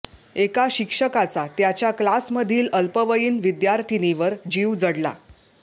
एका शिक्षकाचा त्याच्या क्लासमधील अल्पवयीन विद्यार्थिनीवर जीव जडला